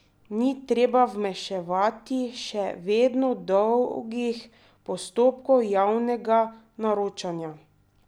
Ni treba vmešavati še vedno dolgih postopkov javnega naročanja!